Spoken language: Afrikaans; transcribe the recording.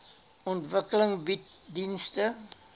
ontwikkeling bied dienste